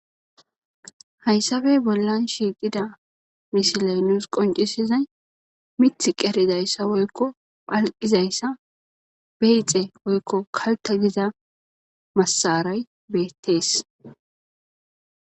Hayssappe bollan shiqqida missiley nus qonccisizay miththi qerizayssa woykko palqqizayssa beyxxe woykko kaltta giiza masaray bettes.